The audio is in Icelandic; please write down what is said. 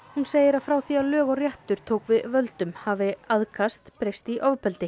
hún segir að frá því að lög og réttur tók við völdum hafi aðkast breyst í ofbeldi